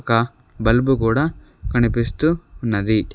ఒక బల్బు కూడా కనిపిస్తూ ఉన్నది.